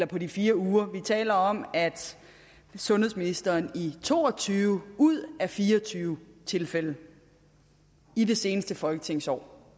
på de fire uger vi taler om at sundhedsministeren i to og tyve ud af fire og tyve tilfælde i det seneste folketingsår